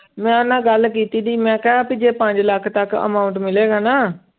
ਮੈਂ ਉਹਦੇ ਨਾਲ ਗੱਲ ਕੀਤੀ ਸੀ ਮੈਂ ਕਿਹਾ ਵੀ ਜੇ ਪੰਜ ਲੱਖ ਤੱਕ amount ਮਿਲੇਗਾ ਨਾ